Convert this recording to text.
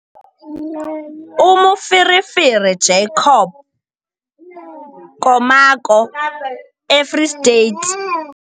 UMoferefere Jacob Komako - eFree State